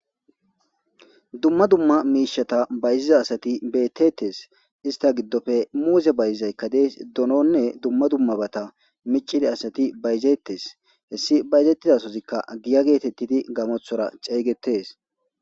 Dumma dumma miishata bayziza asati beettettes ista giddofe muuse bayizaykka dees dononne dumma dummabata micidi asati bayzettes hessi bayzettidasozikka giya geetettidi gamothora ceeygetees.